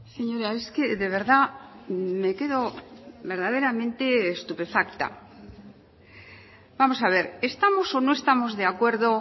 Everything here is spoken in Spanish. señora es que de verdad me quedo verdaderamente estupefacta vamos a ver estamos o no estamos de acuerdo